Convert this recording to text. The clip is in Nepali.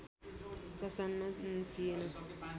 प्रसन्न थिएन